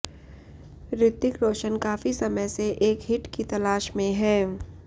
ऋतिक रोशन काफ़ी समय से एक हिट की तलाश में हैं